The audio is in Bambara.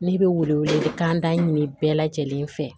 Ne bɛ wele wele kan da ɲinin bɛɛ lajɛlen fɛ